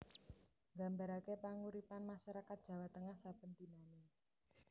Nggambarake panguripan masyarakat Jawa Tengah saben dinanè